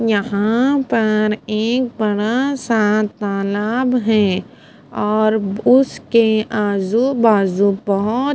यहा पर एक बड़ा सा तालाब है और उसके आजू बाजू बहोत --